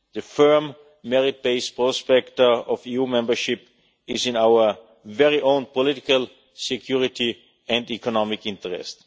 The firm, merit based prospect of EU membership is in our own political, security and economic interest.